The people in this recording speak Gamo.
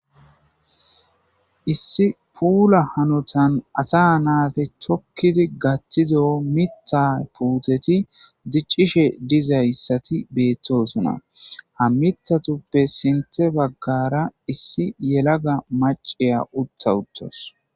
issi puula hanotan asa naati tokkidi gattido mitta puuteti diccishe dizayssati beettosona ha mitatuppe sinte baggara issi yelaga maciya utta uttos